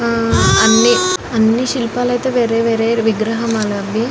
హా అన్నీ అన్నీ శిల్పాలైతే వేరే వేరే విగ్రహాలవి.